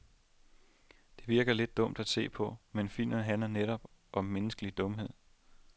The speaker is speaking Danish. Det virker lidt dumt at se på, men filmen handler netop om menneskelig dumhed.